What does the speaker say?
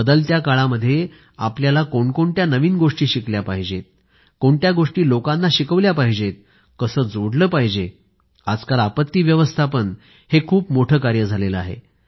बदलत्या काळामध्ये आपला कायकाय नवीन गोष्टी शिकल्या पाहिजेत कोणत्या गोष्टी लोकांना शिकवल्या पाहिजेत कसे जोडले पाहिजे आजकाल आपत्ती व्यवस्थापन हे खूप मोठे कार्य झाले आहे